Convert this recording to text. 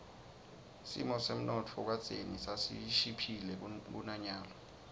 simo semnotfo kadzeni sasishiphile kunanyalo